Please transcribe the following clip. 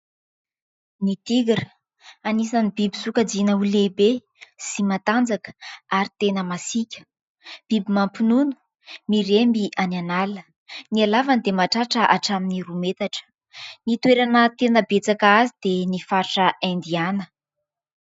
Ny Tigra, anisan'ny biby sokajiana ho lehibe sy matanjaka ary tena masiaka. Biby mampinono, miremby any an'ala. Ny halavany dia mahatratra hatramin'ny roa metatra; ny toerana tena betsaka azy dia ny faritra Indiana.